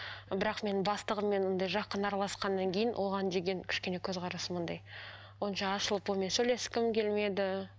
бірақ мен бастығыммен ондай жақын араласқаннан кейін оған деген кішкене көзқарасым андай онша ашылып онымен сөйлескім келмеді